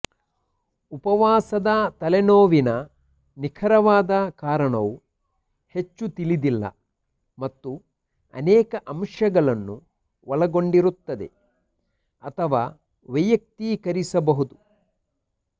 ಉಪವಾಸದ ತಲೆನೋವಿನ ನಿಖರವಾದ ಕಾರಣವು ಹೆಚ್ಚು ತಿಳಿದಿಲ್ಲ ಮತ್ತು ಅನೇಕ ಅಂಶಗಳನ್ನು ಒಳಗೊಂಡಿರುತ್ತದೆ ಅಥವಾ ವೈಯಕ್ತೀಕರಿಸಬಹುದು